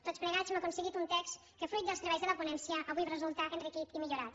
tots plegats hem aconseguit un text que fruit dels treballs de la ponència avui resulta enriquit i millorat